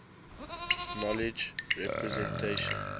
knowledge representation